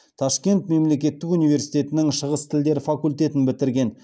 ташкент мемлекеттік университетінің шығыс тілдері факультетін бітірген